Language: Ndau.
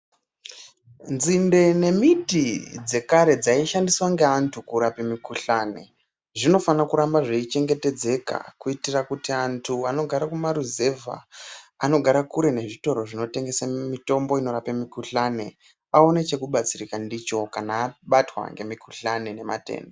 Nzinde nemiti dzekare dzaishandiswa ngeantu kurape mikhuhlani zvinofane kuramba zveichengetedzeka kuitira kuti antu anogare kumaruzevha anogare kure nezvitoro zvinotengese mitombo inorape mikhuhlani aone chekubatsirika ndicho kana abatwa ngemikhuhlani nematenda.